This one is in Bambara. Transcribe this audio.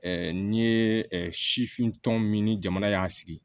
n'i ye sifin tɔn min ni jamana y'a sigi